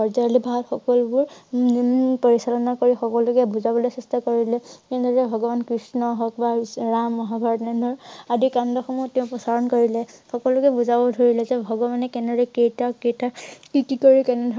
ব্ৰজাৱলী ভাষাত সকলোবোৰ ন~ন~ন পৰিচালনা কৰি সকলোকে বুজাবলৈ চেষ্টা কৰিলে কিন্তু যে ভগৱান কৃষ্ণ হওঁক বা ৰাম মহাভাৰত আদি কাণ্ড সমূহ তেওঁ প্ৰসাৰণ কৰিলে। সকলোকে বুজাব ধৰিলে তেওঁ ভগৱানে কেনেদৰে কেইটা কেইটা কি কি কৰি কেনে ধৰণৰ